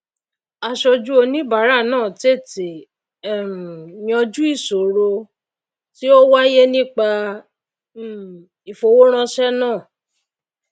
asojú oníbàárà náà tètè um yanjú ìsòro tí ó wáyé nípa um ìfowóránsé náà